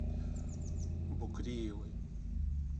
букреевой